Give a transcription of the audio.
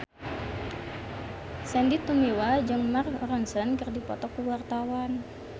Sandy Tumiwa jeung Mark Ronson keur dipoto ku wartawan